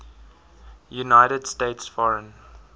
united states foreign